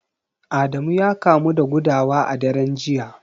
Adamu ya kamu da gudawa a daren jiya